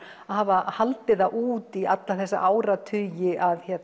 að hafa haldið það út í alla þessa áratugi að